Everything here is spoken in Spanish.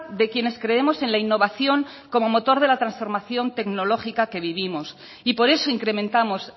de quienes creemos en la innovación como motor de la transformación tecnológica que vivimos y por eso incrementamos